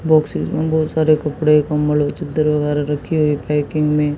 boxes में बहोत सारे कपड़े कंबल और चद्दर वगैरह रखे हुए पैकिंग में--